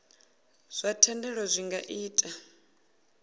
zwa thendelo zwi nga ita